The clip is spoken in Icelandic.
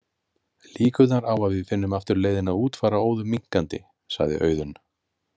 Líkurnar á að við finnum aftur leiðina út fara óðum minnkandi, sagði Auðunn.